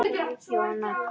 Jóhann: Hvert á að fara?